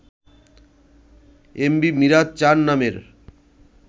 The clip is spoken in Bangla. এম ভি মিরাজ-৪ নামের